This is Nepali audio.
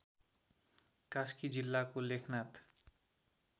कास्की जिल्लाको लेखनाथ